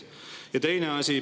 Ja teine asi.